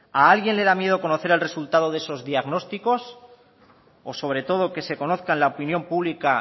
a alguien le da miedo conocer el resultado de esos diagnósticos o sobre todo que se conozca en la opinión pública